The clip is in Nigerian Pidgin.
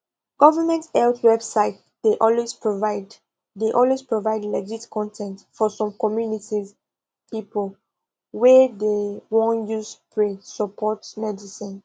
government health website dey always provide dey always provide legit con ten t for some communities people wa dey won use pray support medicine